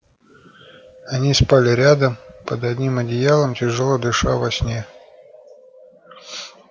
они спали рядом под одним одеялом тяжело дыша во сне